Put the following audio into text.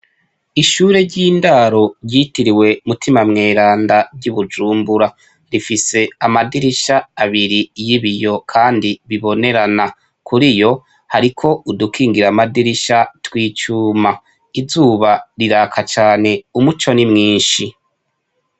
Ishure ry'indaro ryitiriwe Mutima mweranda ry'i Bujumbura. Rifise amadirisha abiri y'ibiyo kandi bibonerana. Kuriyo harimwo udukingira amadirisha tw'icuma. Izuba riraka cane, umuco ni mwinshi.